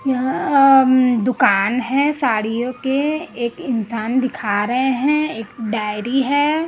यहां अम दुकान है साड़ियों के एक इंसान दिखा रहे हैं एक डायरी है।